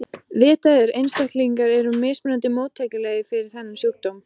Vitað er að einstaklingar eru mismunandi móttækilegir fyrir þennan sjúkdóm.